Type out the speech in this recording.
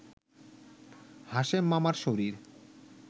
হাশেম মামার শরীর